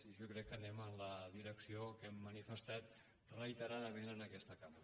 i jo crec que anem en la direcció que hem manifestat reiteradament en aquesta cambra